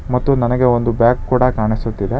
ಮತ್ತು ನನಗೆ ಒಂದು ಬ್ಯಾಗ್ ಕೂಡ ಕಾನಿಸುತ್ತಿದೆ.